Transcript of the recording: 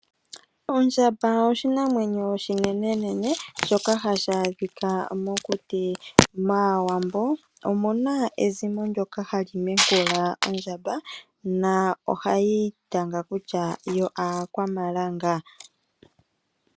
Ondjamba oshinamwenyo oshinenenene shoka hashi adhika mokuti. MAawambo omuna ezimo ndyoka hali mekula ondjamba na ohali itanga kutya yo aakwamalanga.